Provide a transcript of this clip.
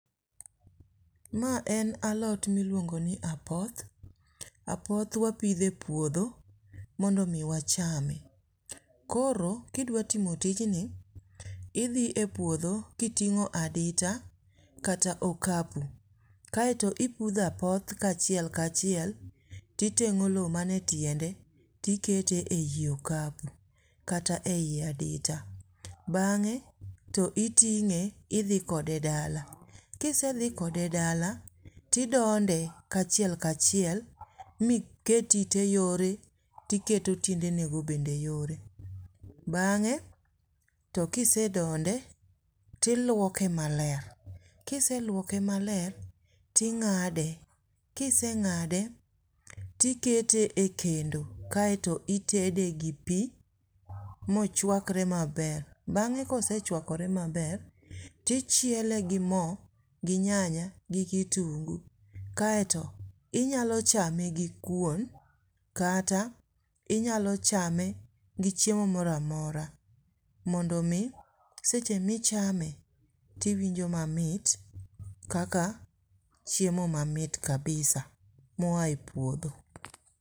Ma en alot miluongo ni apoth apoth wapitho e puodho mondo mi wachame ,koro kidwa timo tijni idhi e puodhi kiting'o adita kata okapu kae to ipudho apoth kachiel kachiel ti teng'o lo mane tiende tikete ei okapu kata ei adita ,bang'e to itinge idhi kode dala, kisedhi kode dala tidonde kachiel kachiel, miket ite yore tiketo tiende ne go bende yore, bang'e to kise donde tiluoke maler ,kiseluoke maler ting'ade ,kiseng'ade tikete e kendo kae to itede gi pi mochwakre maber, bange kosechwakore maber ,tichiele gi mo gi nyanya gi kitungu kae to inyalo chame gi kuon kata inyalo chame gi chiemo moro amora mondo mi seche michame tiwinjo mamit kaka chiemo mamit kabisa moa e puodho.